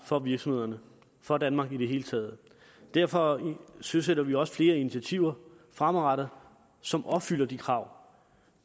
for virksomhederne for danmark i det hele taget derfor søsætter vi også flere initiativer fremadrettet som opfylder de krav